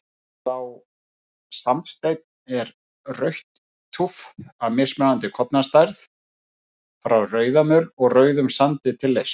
Sá sandsteinn er rautt túff af mismunandi kornastærð, frá rauðamöl og rauðum sandi til leirs.